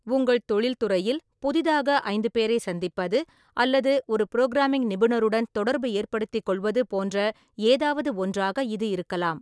உங்கள் தொழில்துறையில் புதிதாக ஐந்து பேரை சந்திப்பது அல்லது ஒரு புரோகிராமிங் நிபுணருடன் தொடர்பு ஏற்படுத்திக் கொள்வது போன்ற ஏதாவது ஒன்றாக இது இருக்கலாம்.